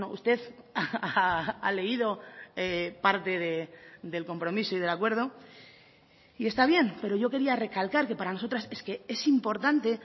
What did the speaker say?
usted ha leído parte del compromiso y del acuerdo y está bien pero yo quería recalcar que para nosotras es que es importante